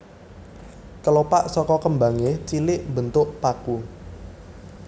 Kelopak saka kembangé cilik mbentuk paku